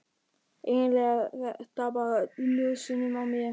Eiginlega er þetta bara í nösunum á mér.